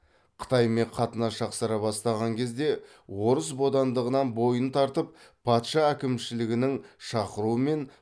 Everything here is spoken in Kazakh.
қытаймен қатынас жақсара бастаған кезде орыс бодандығынан бойын тартып патша әкімшілігінің шақыруымен